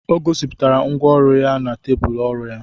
O gosipụtara ngwá ọrụ ya na tebụl ọrụ ya